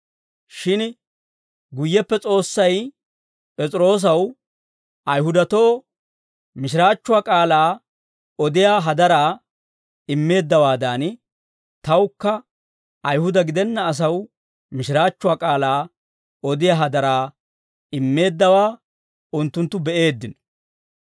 Shin guyyeppe S'oossay P'es'iroosaw, Ayihudatoo mishiraachchuwaa k'aalaa odiyaa hadaraa immeeddawaadan, tawukka Ayihuda gidenna asaw mishiraachchuwaa k'aalaa odiyaa hadaraa immeeddawaa unttunttu be'eeddino.